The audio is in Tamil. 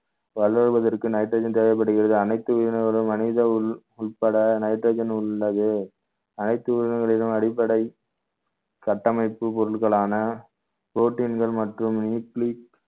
வளர்வதற்கு nitrogen தேவைப்படுகிறது அனைத்து உயிரினங்களும் மனித உள்~ உட்பட nitrogen உள்ளது அனைத்து உயிரினங்களிலும் அடிப்படை கட்டமைப்பு பொருட்களான protein கள் மற்றும் nucleic